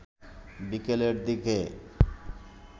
বিকেলের দিকে